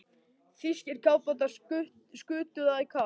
Þýskir kafbátar skutu það í kaf.